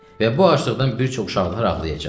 Və bu aclıqdan bir çox uşaqlar ağlayacaq.